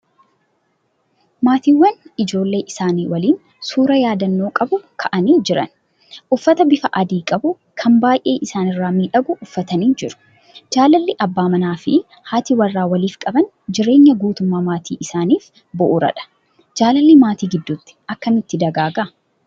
Maatiiwwan ijoollee isaanii waliin suuraa yaadannoo qabu ka'anii jiran. Uffata bifa adii qabu kan baay'ee isaanirraa miidhagu uffatanii jiru. Jaalalli abbaan manaa fi haati warraa waliif qaban jireenya guutummaa maatii isaaniif bu'uuradha. Jaalalli maatii gidduutti akkamitti dagaaga?